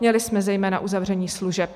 Měli jsme zejména uzavření služeb.